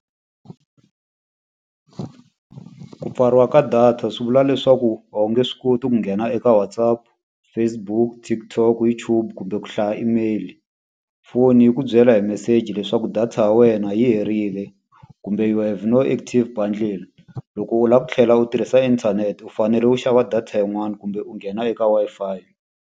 Ku pfariwa ka data swi vula leswaku a wu nge swi koti ku nghena eka WhatsApp, Facebook, TikTok, YouTube kumbe ku hlaya email-i. Foni yi ku byela hi meseji leswaku data ya wena yi herile, kumbe you have no active bundle. Loko u lava ku tlhela u tirhisa inthanete u fanele u xava data yin'wani kumbe u nghena eka Wi-Fi.